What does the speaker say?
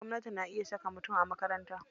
Gwamnati na iya saka mutum a makaranta.